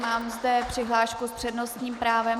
Mám zde přihlášku s přednostním právem.